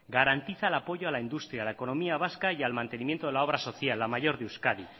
garantiza el apoyo a la industria a la economía vasca y al mantenimiento de la obra social la mayor de euskadi